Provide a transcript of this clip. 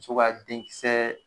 So ka den kisɛɛ